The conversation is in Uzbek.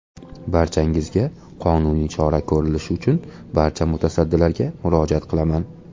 Barchangizga qonuniy chora ko‘rilishi uchun barcha mutasaddilarga murojaat qilaman.